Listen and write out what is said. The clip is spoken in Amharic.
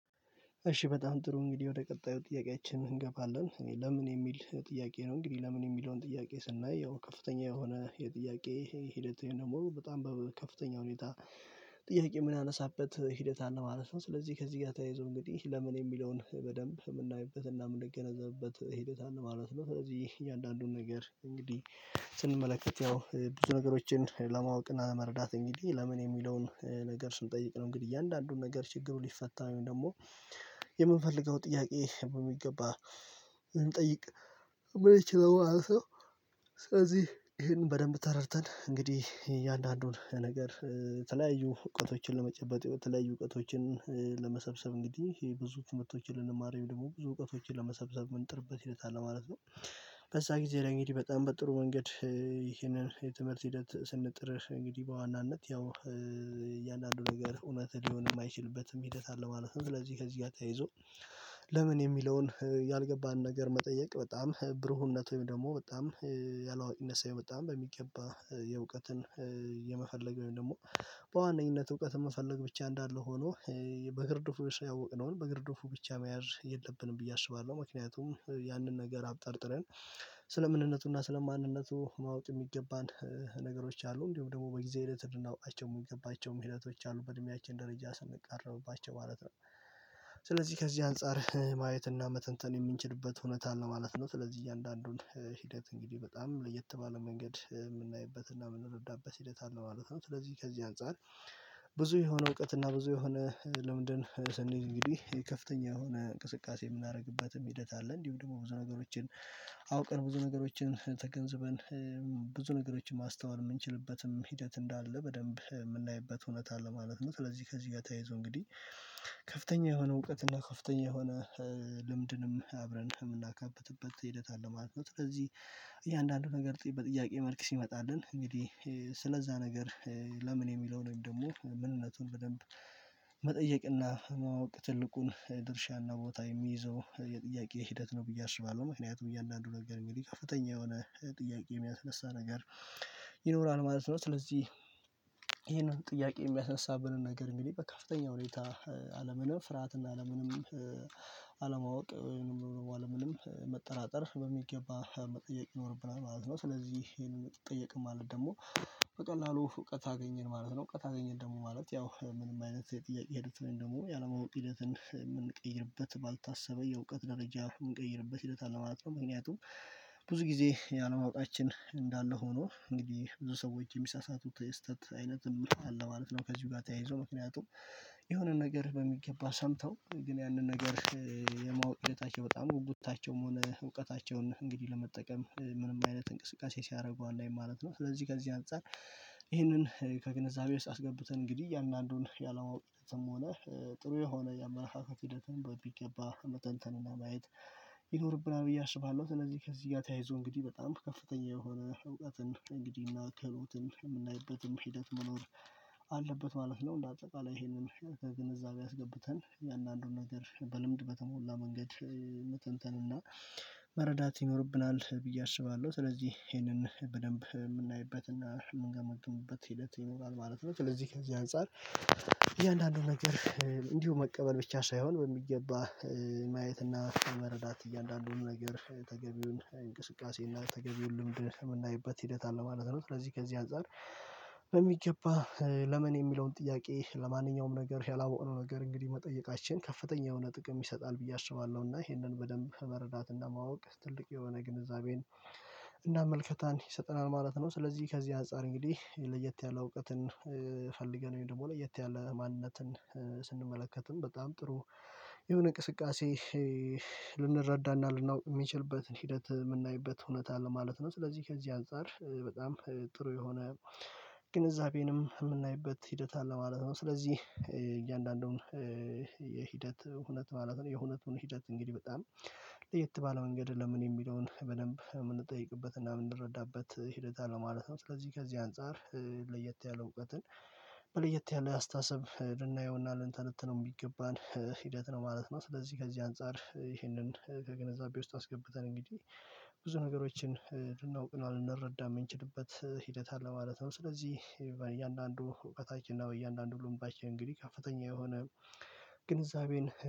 እሺ በጣም ጥሩ እንግዲህ ወደ ቀጣዩ ጥያቄያችን እንገባለን። እኔ ለምን የሚል ጥያቄ ነው እንግዲህ ለምን የሚለውን ጥያቄ ስናይ ያው ከፍተኛ የሆነ የጥያቄ ደግሞ በጣም በከፍተኛ ሁኔታ ጥያቄ የምናነሳበት ሂደት አለ ማለት ነው። ስለዚህ ከዚህ ጋር ተያይዞ እንግዲህ ለምን የሚለውን በደንብ የምናይበትና የምንገነዘብበት ሂደት አለ ማለት ነው። ስለዚህ እያንዳንዱን ነገር እንግዲህ ስንመለከት ያው ብዙ ነገሮችን ለማወቅ እና ለመረዳት እንግዲህ ለምን የሚለውን ነገር ስንጠይቅ ነው። እንግዲህ እያንዳንዱን ነገር ችግሩ ሊፈታው ደግሞ የምንፈልገው ጥያቄ በሚገባ ልንጠይቅ የምንችለው ማለት ሰው ስለዚህ ይህንን በደንብ ተረድተን እንግዲህ የእያንዳንዱን ነገር የተለያዩ እውቀቶችን ለመጨበጥ የተለያዩ እውቀቶችን ለመሰብሰብ እንግዲህ ይሄ ብዙ ትምህርቶች ልንማር ወይም ደግሞ ብዙ እውቀቶችን ለመሰብሰብ ምን ጥርበት ሂደት አለ ማለት ነው። በዛ ጊዜ እንግዲህ በጣም በጥሩ መንገድ ይሄንን የትምህርት ሂደት ስንጥር እንግዲህ በዋናነት ያው እያንዳንዱ ነገር እውነት ሊሆን የማይችልበትም ሂደት አለ ማለት ነው። ስለዚህ ከዚህ ጋር ተያይዞ ለምን የሚለውን ያልገባንን ነገር መጠየቅ በጣም ብሩህነት ወይም ደግሞ በጣም ያላዋቂነት ሳይመጣ በሚገባ የመፈለግ ወይም ደግሞ በዋነኝነት እውቀት መፈለግ ብቻ እንዳለ ሆኖ በግርድፉ ያወቅነውን በግርድፉ ብቻ መያዝ የለብንም ብዬ አስባለሁ። ምክንያቱም ያንን ነገር አብጠርጥረን ስለ ምንነቱና ስለ ማንነቱ ማወቅ የሚገባን ነገሮች አሉ እንዲሁም ደግሞ በጊዜ ሂደት ልናውቃቸው የሚገባቸው ሂደቶች አሉ በእድሜያችን ደረጃ ስንቃረብባቸው ማለት ነው። ስለዚህ ከዚህ አንፃር ማየት እና መተንተን የምንችልበት ሁኔታ አለ ማለት ነው። ስለዚህ እያንዳንዱን ሂደት እንግዲህ በጣም ለየት ባለ መንገድ የምናይበትና የምንረዳበት ሂደት አለ ማለት ነው። ስለዚህ ከዚህ አንፃር ብዙ የሆነ እውቀት እና ብዙ የሆነ ልምድን ስንሄድ እንግዲህ ከፍተኛ የሆነ እንቅስቃሴ የምናደርግበትም ሂደት አለ እንዲሁ ደግሞ ብዙ ነገሮችን አውቀን ብዙ ነገሮችን ተገንዝበን ብዙ ነገሮችን ማስተዋል የምንችልበትም ሂደት እንዳለ በደንብ የምናይበት እውነት አለ ማለት ነው። ስለዚህ ከዚህ ጋር ተያይዞ እንግዲህ ከፍተኛ የሆነ እውቀትና ከፍተኛ የሆነ ልምድንም አብረን የምናካበትበት ሂደት አለ ማለት ነው። ስለዚህ እያንዳንዱ ነገር በጥያቄ መልክ ሲመጣልን እንግዲህ ስለዛ ነገር ለምን የሚለውን ወይም ደግሞ ምንነቱን በደንብ መጠየቅና ማወቅ ትልቁን ድርሻና ቦታ የሚይዘው የጥያቄ ሂደት ነው ብዬ አስባለሁ። ምክንያቱም እያንዳንዱ ነገር እንግዲህ ከፍተኛ የሆነ ጥያቄ የሚያስነሳ ነገር ይኖራል ማለት ነው። ስለዚህ ይሄንን ጥያቄ የሚያስነሳብንን ነገር እንግዲህ በከፍተኛ ሁኔታ ያለምንም ፍርሃትና ያለምንም አለማወቅ ወይም ያለምንም መጠራጠር በሚገባ መጠየቅ ይኖርብናል ማለት ነው። ስለዚህ ይሄንን የምትጠየቀው ማለት ደግሞ በቀላሉ እውቀት አገኘን ማለት ነው እውቀት አገኘን ደግሞ ማለት ያው ምንም አይነት የጥያቄ ሂደት ወይም ደግሞ ያለማወቅ ሂደትን የምንቀይርበት ባልታሰበ የእውቀት ደረጃ የምንቀይርበት ሂደት አለ ማለት ነው። ምክንያቱም ብዙ ጊዜ ያን ማወቃችን እንዳለ ሆኖ እንግዲህ ብዙ ሰዎች የሚሳሳቱት ስህተት አይነት አለ ማለት ነው። ከዚህ ጋር ተያይዞ ምክንያቱም የሆነን ነገር በሚገባ ሰምተው ግን ያንን ነገር የማወቅ ሂደታቸው በጣም ጉጉታቸውም ሆነ እውቀታቸውን እንግዲህ ለመጠቀም ምንም አይነት እንቅስቃሴ ሲያደርጉ አናይም ማለት ነው። ስለዚህ ከዚህ አንፃር ይህንን ከግንዛቤ ውስጥ አስገብተን እንግዲህ አንዳንዱን ያላወቅንበትን ሆነ ጥሩ የሆነ የአመለካከት ሂደትን በሚገባ መተንተንና ማየት ይኖርብናል ብዬ አስባለሁ። እነዚህ ከዚህ ጋር ተያይዞ እንግዲህ በጣም ከፍተኛ የሆነ እውቀትን እንግዲህ እና ክህሎትን የምናይበትም ሂደት መኖር አለበት ማለት ነው። እንደ አጠቃላይ ይሄንን ከግንዛቤ አስገብተን የእያንዳንዱን ነገር በልምድ በተሞላ መንገድ መተንተንና መረዳት ይኖርብናል ብዬ አስባለሁ። ስለዚህ ይሄንን በደንብ የምናይበትና የምንገመግምበት ሂደት ይኖራል ማለት ነው። ስለዚህ ከዚህ አንፃር እያንዳንዱን ነገር እንዲሁ መቀበል ብቻ ሳይሆን በሚገባ ማየት እና መረዳት እያንዳንዱን ነገር ተገቢውን እንቅስቃሴ እና ተገቢውን ልምድ የምናይበት ሂደት አለ ማለት ነው። ስለዚህ ከዚህ አንፃር በሚገባ ለምን የሚለውን ጥያቄ ለማንኛውም ነገር ያላወቀው ነገር እንግዲህ መጠየቃችን ከፍተኛ የሆነ ጥቅም ይሰጣል ብዬ አስባለሁ። እና ይሄንን በደንብ መረዳት ማወቅ ትልቅ የሆነ ግንዛቤን እና ምልከታን ይሰጠናል ማለት ነው። ስለዚህ ከዚህ አጻር እንግዲህ ለየት ያለ እውቀትን ፈልገን ወይም ደግሞ ለየት ያለ ማንነትን ስንመለከትም በጣም ጥሩ የሆነ ንቅስቃሴ ልናውቅ የምንችልበትን ሂደት የምናይበት ሁኔታ አለ ማለት ነው። ስለዚህ ከዚህ አንፃር በጣም ጥሩ የሆነ ግንዛቤንም የምናይበት ሂደት አለ ማለት ነው። ስለዚህ እያንዳንዱን የሂደት ሁነት ማለት ነው የሁነቱን ሂደት እንግዲህ በጣም ለየት ባለ መንገድ ለምን የሚለውን በደንብ የምንጠይቅበት እና የምንረዳበት ሂደት አለ ማለት ነው። ስለዚህ ከዚህ አንፃር ለየት ያለ እውቀትን በ ለየት ያለ አስተሳሰብ ልናየው እና ልንተነትነው የሚገባን ሂደት ነው ማለት ነው። ስለዚህ ከዚህ አንፃር ይህንን ከግንዛቤ ውስጥ አስገብተን እንግዲህ ብዙ ነገሮችን ልናውቅና ልንረዳም የምንችልበት ሂደት አለ ማለት ነው። ስለዚህ በእያንዳንዱ እውቀታችን እና በእያንዳንዱ ልባችን እንግዲህ ከፍተኛ የሆነ ግንዛቤን